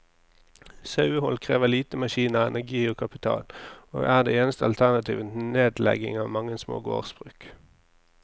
Sauehold krever lite maskiner, energi og kapital, og er det eneste alternativet til nedlegging av mange små gårdsbruk.